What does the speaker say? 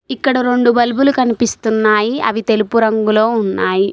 ఇక్కడ రొండు బల్బులు కనిపిస్తున్నాయి అవి తెలుపు రంగులో ఉన్నాయి.